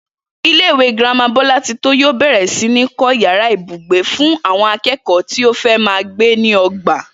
Ilé-ìwé girama Bó̩látitó yóò bè̩rè̩ sí ní kó̩ yàrá ibùgbé fún àwo̩n aké̩kò̩ó̩ tí ó fé̩ máa gbé ní o̩gbà